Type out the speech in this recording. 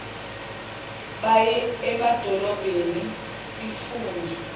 baye emadolobheni sifuna